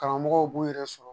Karamɔgɔw b'u yɛrɛ sɔrɔ